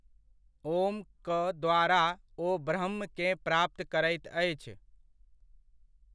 ॐक द्वारा ओ ब्रह्म केँ प्राप्त करैत अछि।